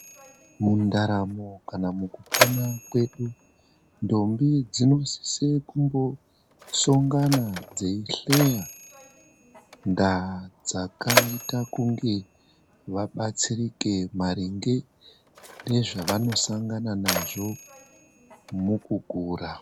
Mundaramo kana mukupona kwedu ndombi dzinosise kumbosongana dzeihleya ndaa dzakaite kunge vabatsirike maringe nedzavanosangana nadzo mukukura.